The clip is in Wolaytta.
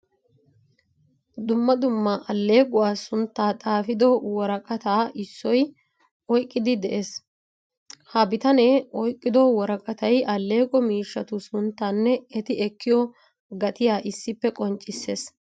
Dumma dumma allequwaa suntta xaafido worqqattaa issoy oyqqidi de'ees. Ha biittane oyqqido worqqattay alleqqo miishshattu sunttanne etti ekkiyo gattiyaa issippe qonccisees.